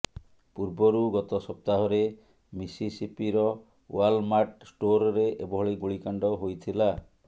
ପୂର୍ବରୁ ଗତ ସପ୍ତାହରେ ମିସିସିପିର ୱାଲମାର୍ଟ ଷ୍ଟୋରରେ ଏଭଳି ଗୁଳିକାଣ୍ଡ ହୋଇଥିଲା